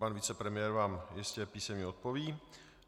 Pan vicepremiér vám jistě písemně odpoví.